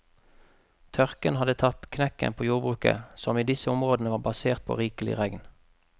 Tørken hadde tatt knekken på jordbruket, som i disse områdene var basert på rikelig regn.